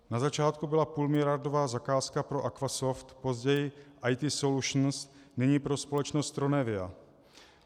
Na začátku byla půlmiliardová zakázka pro Aquasoft, později IT Solutions, nyní pro společnost Tronevia.